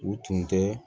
U tun tɛ